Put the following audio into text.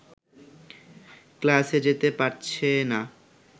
ক্লাসে যেতে পারছে না